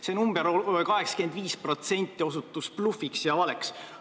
See osutus blufiks ja valeks.